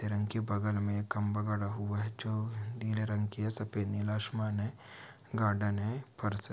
रंग के बगल में खंबा गढ़ा हुआ है जो नीले रंग की है । सफेद नीला आसमान है गार्डन है फर्श --